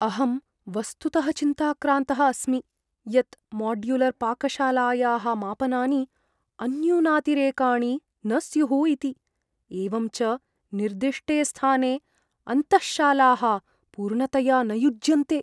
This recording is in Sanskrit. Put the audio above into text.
अहं वस्तुतः चिन्ताक्रान्तः अस्मि यत् माड्युलर्पाकशालायाः मापनानि अन्यूनातिरेकाणि न स्युः इति । एवं च निर्दिष्टे स्थाने अन्तःशालाः पूर्णतया न युज्यन्ते।